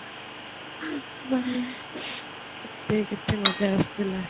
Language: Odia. କେତେ ମଜା ଆସୁଥିଲା